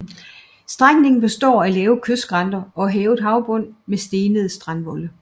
Strækningen består af lave kystskrænter og hævet havbund med stenede strandvolde